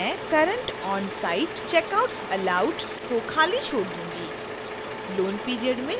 मैं current onsite checkouts allowed को खाली छोड़ दूंगी